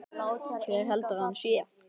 Hver heldur að hann sé?